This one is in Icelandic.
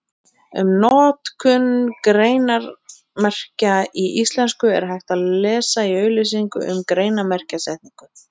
Um notkun greinarmerkja í íslensku er hægt að lesa í auglýsingu um greinarmerkjasetningu.